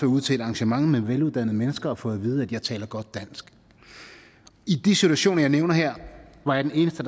ude til et arrangement med veluddannede mennesker og fået at vide at jeg taler godt dansk i de situationer jeg nævner her var jeg den eneste